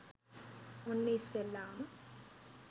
ඔන්න ඉස්සෙල්ලාම